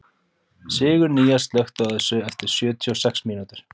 Sigurnýjas, slökktu á þessu eftir sjötíu og sex mínútur.